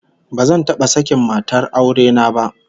Bazan taba sakin matar aure na ba